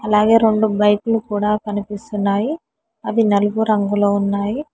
ఇలాగే రెండు బైకులు కూడా కనిపిస్తున్నాయి అవి నలుపు రంగులో ఉన్నాయి.